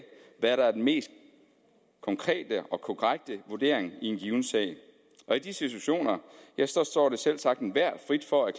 hvad der er den mest konkrete og korrekte vurdering i en given sag og i de situationer ja så står det selvsagt enhver frit for at